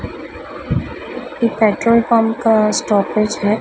ये petrol pump का stoppage है।